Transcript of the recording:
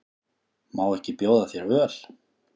Má ekki bjóða þér öl?